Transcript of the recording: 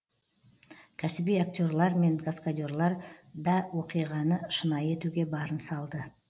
кәсіби актерлар мен каскадерлар да оқиғаны шынайы етуге барын салды